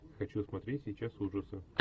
хочу смотреть сейчас ужасы